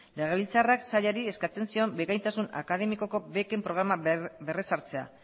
legebiltzarrak sailari eskatzen zion bikaintasun akademikoko beken programa berrezartzea